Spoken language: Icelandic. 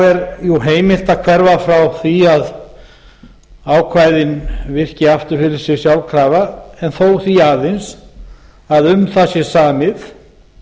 er jú heimilt að hverfa frá því að ákvæðin virki aftur fyrir sig sjálfkrafa en þó því aðeins að um það sé samið